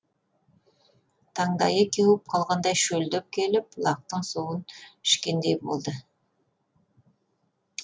таңдайы кеуіп қалғандай шөлдеп келіп бұлақтың суын ішкендей болды